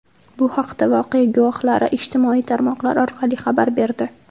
Bu haqda voqea guvohlari ijtimoiy tarmoqlar orqali xabar berdi.